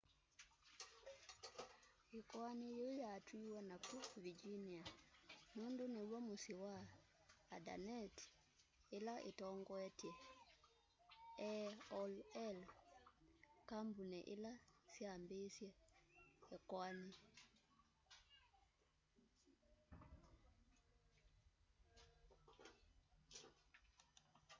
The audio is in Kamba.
ikoani yiu yatwiwe naku virginia nundu niw'o musyi wa indaneti ila itongoetye aol kambuni ila yambiisye ikoani